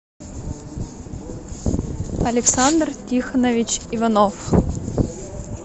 александр тихонович иванов